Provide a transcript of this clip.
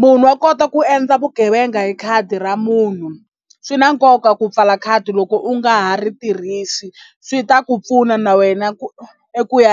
munhu wa kota ku endla vugevenga hi khadi ra munhu swi na nkoka ku pfala khadi loko u nga ha ri tirhisi swi ta ku pfuna na wena ku eku ya .